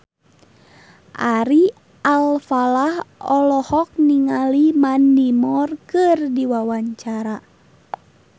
Ari Alfalah olohok ningali Mandy Moore keur diwawancara